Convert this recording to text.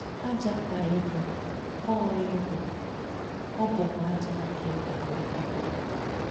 “Ájá kà ị bù, ọ̀ ị bù, ọ̀ bùkwá ájá kà ị gà-àlótà.”